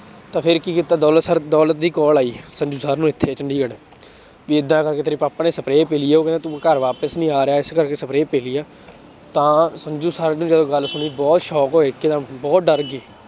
ਤਾਂ ਫਿਰ ਕੀ ਕੀਤਾ ਦੌਲਤ ਸਰ ਦੌਲਤ ਦੀ call ਆਈ ਸੰਜੂ ਸਰ ਨੂੰ ਇੱਥੇ ਚੰਡੀਗੜ੍ਹ ਵੀ ਏਦਾਂ ਕਰਕੇ ਤੇਰੇ ਪਾਪਾ ਨੇ spray ਪੀ ਲਈ ਆ ਉਹ ਕਹਿੰਦਾ ਤੂੰ ਘਰ ਵਾਪਿਸ ਨੀ ਆ ਰਿਹਾ ਇਸ ਕਰਕੇ spray ਪੀ ਲਈ ਆ, ਤਾਂ ਸੰਜੂ ਸਰ ਨੇ ਜਦੋਂ ਗੱਲ ਸੁਣੀ ਬਹੁਤ shock ਹੋਏ ਇੱਕਦਮ ਬਹੁਤ ਡਰ ਗਏ